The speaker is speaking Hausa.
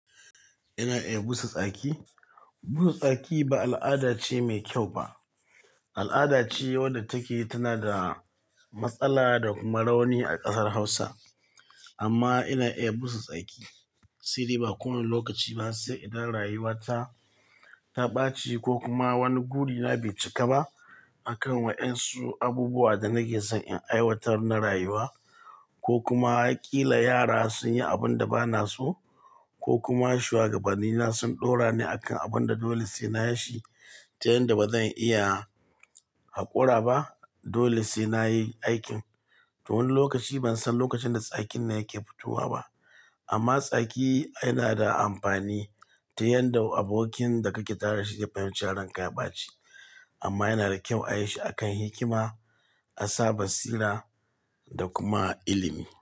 Ina iya busa tsaki. Busa tsaki ba al'ada ce mai kyau ba. Al'ada ce wadda take tana da matsala da kuma rauni a kasar Hausa. Amma ina iya busa tsaki. Siri, ba kowane lokaci ba, sai idan rayuwa ta, ta ɓaci ko kuma wani gudina bai cika ba a kan wa ƴan su abubuwan da nake son in aiwatar na rayuwa, ko kuma kila yara sun yi abin da ba na so, ko kuma shuwagabanni na sun ɗora ni a kan abun da dole sai na yi shi, ta yanda ba zan iya haƙora ba. Dole sai na yi aikin. To wani lokaci ban san lokacin da tsakin nan yake fitowa ba. Amma tsaki yana da amfani ta yanda abokin da kake tara shi ya fahimci ran ka ya ɓaci. Amma yana da kyau a yi shi a kan hikima, asa batsira da kuma ilimi.